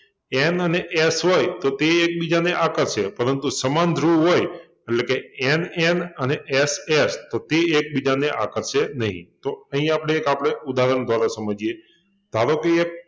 N અને S હોય તો તે એકબીજાને આકર્ષે પરંતુ સમાન ધ્રુવો હોય એટલે NN અને SS તો તે એકબીજાને આકર્ષે નહિ તો અહિં આપણે એક આપણે ઉદાહરણ દ્વારા સમજીએ ધારો કે એક